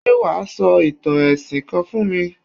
Ṣé wà á sọ ìtàn ẹ̀sìn kan fún mi?